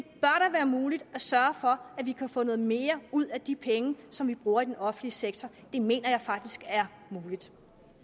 være muligt at sørge for at vi kan få noget mere ud af de penge som vi bruger i den offentlige sektor det mener jeg faktisk er muligt